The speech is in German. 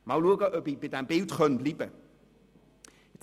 Mal sehen, ob ich bei diesem Bild bleiben kann.